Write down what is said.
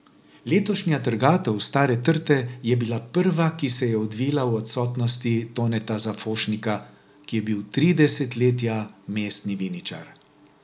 Letošnja trgatev stare trte je bila prva, ki se je odvila v odsotnosti Toneta Zafošnika, ki je bil tri desetletja mestni viničar.